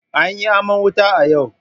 An yi aman wuta a yau.